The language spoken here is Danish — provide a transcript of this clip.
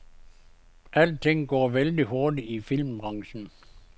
Alting går vældig hurtigt i filmbranchen.